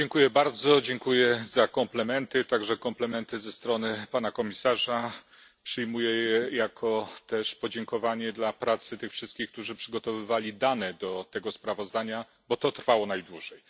Bardzo dziękuję za komplementy, także komplementy ze strony pana komisarza. Przyjmuję je też jako podziękowanie dla pracy tych wszystkich, którzy przygotowywali dane do tego sprawozdania, bo to trwało najdłużej.